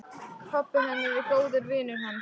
Pabbi hennar er góður vinur hans.